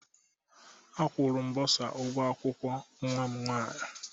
A kwuru m bosa ụgwọ akwụkwọ nwa m nwaanyị